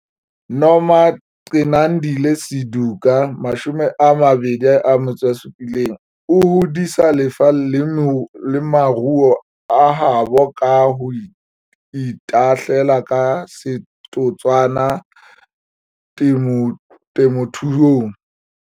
Nomagcinandile Suduka, 27, o hodisa lefa le maruo a habo ka ho itahlela ka setotswana temothuong.